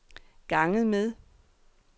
ganget med